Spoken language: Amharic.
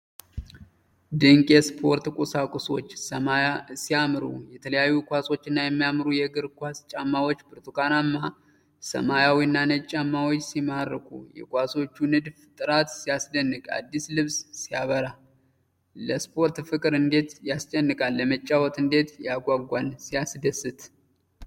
ድንቅ የስፖርት ቁሶች ሲያምሩ! የተለያዩ ኳሶችና የሚያማምሩ የእግር ኳስ ጫማዎች! ብርቱካናማ፣ ሰማያዊና ነጭ ጫማዎች ሲማርኩ! የኳሶቹ የንድፍ ጥራት ሲያስደንቅ! አዲስ ልብስ ሲያበራ! ለስፖርት ፍቅር እንዴት ያስጨንቃል! ለመጫወት እንዴት ያጓጓል! ሲያስደስት!